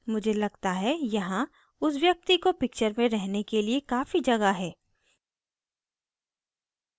मुझे लगता है यहाँ उस व्यक्ति को picture में रहने के लिए काफी जगह है